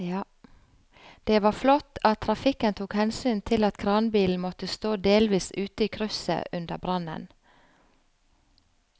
Det var flott at trafikken tok hensyn til at kranbilen måtte stå delvis ute i krysset under brannen.